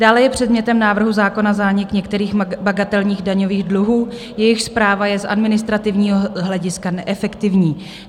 Dále je předmětem návrhu zákona zánik některých bagatelních daňových dluhů, jejichž správa je z administrativního hlediska neefektivní.